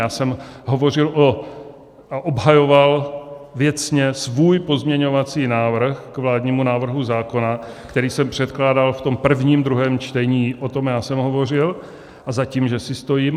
Já jsem hovořil a obhajoval věcně svůj pozměňovací návrh k vládnímu návrhu zákona, který jsem předkládal v tom prvním druhém čtení, o tom já jsem hovořil a za tím že si stojím.